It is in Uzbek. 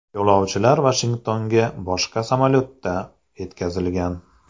Yo‘lovchilar Vashingtonga boshqa samolyotda yetkazilgan.